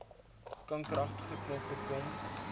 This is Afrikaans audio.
kankeragtige knoppe kom